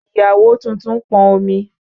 Ìyàwó tuntun pọn omi.